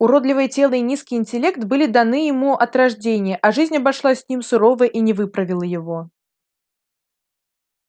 уродливое тело и низкий интеллект были даны ему от рождения а жизнь обошлась с ним сурово и не выправила его